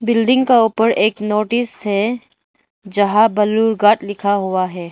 Building का ऊपर एक नोटिस है जहां बालूरघाट लिखा हुआ है।